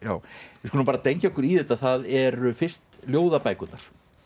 við skulum dengja okkur í þetta það eru fyrst ljóðabækurnar